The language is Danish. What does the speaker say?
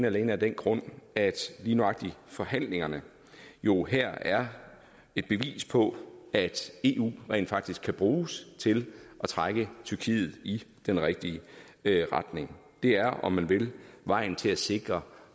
alene af den grund at lige nøjagtig forhandlingerne jo her er et bevis på at eu rent faktisk kan bruges til at trække tyrkiet i den rigtige retning det er om man vil vejen til at sikre